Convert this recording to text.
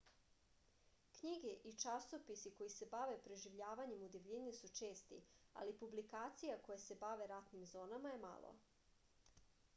knjige i časopisi koji se bave preživljavanjem u divljini su česti ali publikacija koje se bave ratnim zonama je malo